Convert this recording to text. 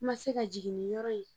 I ma se ka jiginniyɔrɔ ye